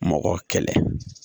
Mɔgɔ kɛlɛ